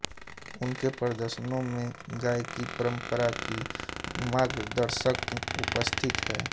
उनके प्रदर्शनों में गायकी परंपरा की मार्गदर्शक उपस्थिति है